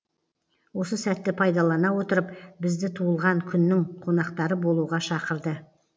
осы сәтті пайдалана отырып бізді туылған күннің қонақтары болуға шақырды